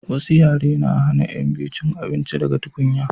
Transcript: wasu yare na hana yan biyu cin abinci daga tukunya